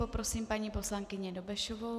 Poprosím paní poslankyni Dobešovou.